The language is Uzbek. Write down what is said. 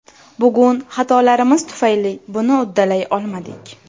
Bugun xatolarimiz tufayli buni uddalay olmadik.